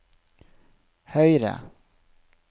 høyre